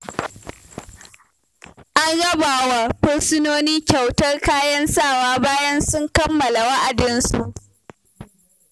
An raba wa fursunoni kyautar kayan sawa bayan sun kammala wa'adinsu.